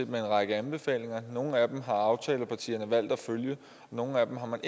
med en række anbefalinger nogle af dem har aftalepartierne valgt at følge og nogle af dem har man